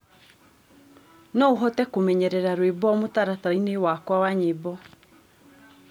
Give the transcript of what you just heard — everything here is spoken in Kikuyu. no uhote kumenyerera rwĩmbo mutarataraĩnĩ wakwa wa nyĩmbo